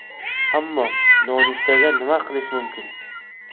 Ammo nonushtaga nima qilish mumkin?